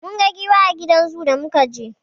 Mun ga giwa a gidan zoo da muka je.